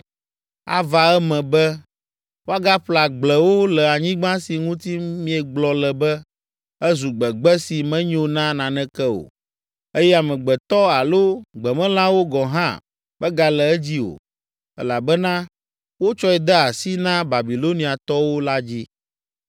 Ava eme be, woagaƒle agblewo le anyigba si ŋuti miegblɔ le be, ‘Ezu gbegbe si menyo na naneke o, eye amegbetɔ alo gbemelãwo gɔ̃ hã megale edzi o, elabena wotsɔe de asi na Babiloniatɔwo’ la dzi.